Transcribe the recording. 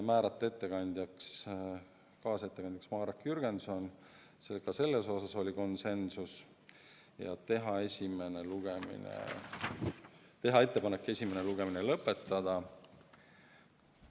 Veel otsustati määrata kaasettekandjaks Marek Jürgenson – ka selles osas oli konsensus – ja teha ettepanek esimene lugemine lõpetada.